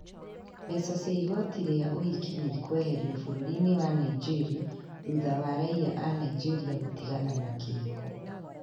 Mbeca cia igoti rĩa ũhiki nĩ ikũeherio bũrũri-inĩ wa Nigeria thutha wa raiya a Nigeria gũtigana na kĩhiko